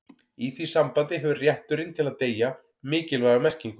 í því sambandi hefur rétturinn til að deyja mikilvæga merkingu